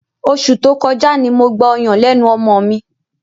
Oṣù tó kọjá ni mo gba ọyàn lẹ́nu ọmọ mi.